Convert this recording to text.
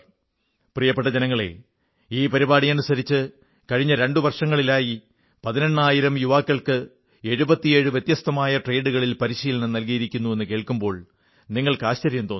പ്രിയപ്പെട്ട ജനങ്ങളേ ഈ പരിപാടി അനുസരിച്ച് കഴിഞ്ഞ രണ്ടു വർഷങ്ങളിലായി പതിനെണ്ണായിരം യുവാക്കൾക്ക് 77 വ്യത്യസ്തങ്ങളായ ട്രേഡുകളിൽ പരിശീലനം നല്കിയിരിക്കുന്നു എന്നു കേൾക്കുമ്പോൾ നിങ്ങൾക്ക് ആശ്ചര്യം തോന്നും